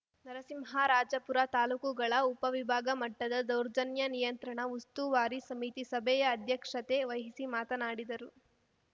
ನರಸಿಂಹರಾಜಪುರ ತಾಲೂಕುಗಳ ಉಪ ವಿಭಾಗ ಮಟ್ಟದ ದೌರ್ಜನ್ಯ ನಿಯಂತ್ರಣ ಉಸ್ತುವಾರಿ ಸಮಿತಿ ಸಭೆಯ ಅಧ್ಯಕ್ಷತೆ ವಹಿಸಿ ಮಾತನಾಡಿದರು